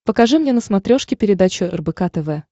покажи мне на смотрешке передачу рбк тв